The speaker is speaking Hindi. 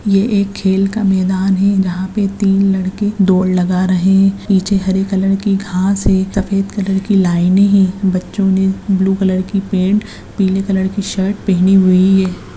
ये एक खेल का मैदान है यहां पे तीन लड़के दौर लगा रहे है नीचे हरे कलर की घास है सफेद कलर की लाइने है बच्चों ने ब्लू कलर की पेंट पीली कलर की शर्ट पहने हुई है।